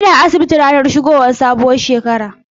Ina asibiti ranar shigowar sabuwar shekara.